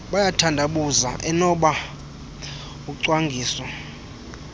bayathandabuza enoba ucwangiso